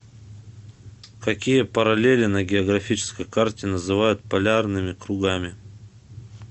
какие параллели на географической карте называют полярными кругами